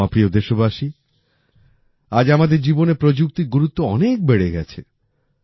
আমার প্রিয় দেশবাসী আজ আমাদের জীবনে প্রযুক্তির গুরুত্ব অনেক বেড়ে গেছে